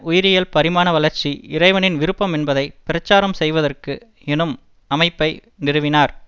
உயிரியல் பரிணாம வளர்ச்சி இறைவனின் விருப்பம் என்பதை பிரச்சாரம் செய்வதற்கு எனும் அமைப்பை நிறுவினார்